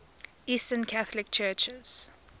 eastern catholic churches